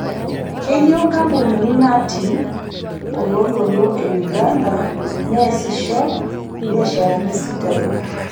Keyieu nkampunini natii oloontoluo e Uganda neesisho ilbiasharani sidain